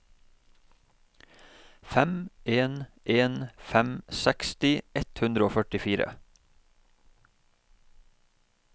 fem en en fem seksti ett hundre og førtifire